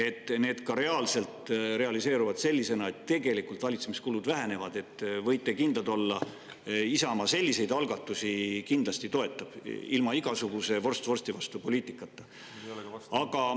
Kui need realiseeruvad sellisena, et tegelikult valitsemiskulud vähenevad, siis võite kindlad olla, et Isamaa neid algatusi kindlasti toetab, ilma igasuguse vorst vorsti vastu poliitikata.